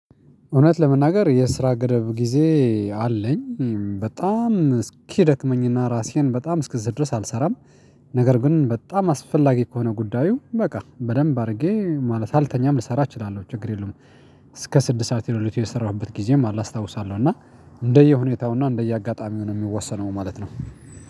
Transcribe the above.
እውነት ለመናገር የስራ ገደብ ጊዜ አለኝ በጣም እስኪደክመኝና ራሴን በጣም እስክዝል ድረስ አልሰራም። ነገር ግን በጣም አስፈላጊ ከሆነ ጉዳዩ በቃ በደንብ አድርጌ ማለት ሳልተኛም ልሰራ እችላለሁ ችግር የለውም። እስከ ስድስት ሰዓት ከሌሊቱ የሰራሁበት ጊዜም አላስታውሳለሁ እና እንደየሁኔታውና እንደየአጋጣሚው ነው የሚወሰነው ማለት ነው።